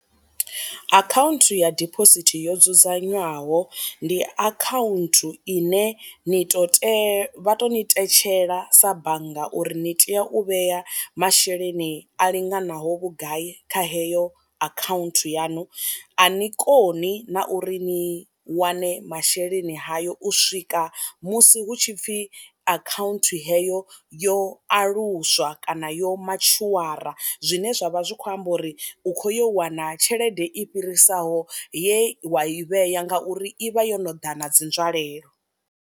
Akhaunthu ya dibosithi yo dzudzanywaho ndi akhaunthu ine ni to tea vha to ni tetshela sa bannga uri ni tea u vhea masheleni a linganaho vhugai kha heyo akhaunthu yaṋu, a ni koni na uri ni wane masheleni hayo u swika musi hu tshi pfhi akhaunthu heyo yo aluswa kana yo matshuwara, zwine zwavha zwi kho amba uri u kho yo wana tshelede i fhirisaho ye wa i vhea ngauri i vha yo no ḓa na dzi nzwalelo.